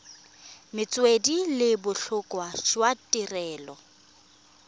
metswedi le botlhokwa jwa tirelo